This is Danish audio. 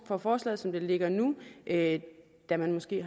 for forslaget som det ligger nu da man måske